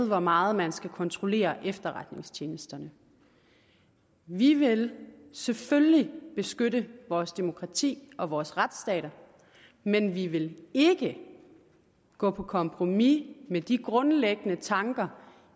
hvor meget man skal kontrollere efterretningstjenesterne vi vil selvfølgelig beskytte vores demokrati og vores retsstat men vi vil ikke gå på kompromis med de grundlæggende tanker